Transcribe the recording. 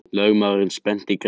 Lögmaðurinn spennti greipar.